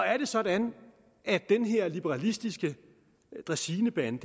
er det sådan at den her liberalistiske dræsinebande